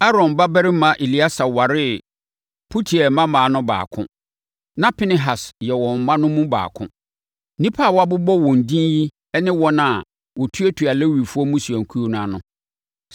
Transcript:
Aaron babarima Eleasa waree Putiel mmammaa no baako. Na Pinehas yɛ wɔn mma no mu baako. Nnipa a wɔabobɔ wɔn edin yi ne wɔn a na wɔtuatua Lewifoɔ mmusuakuo no ano.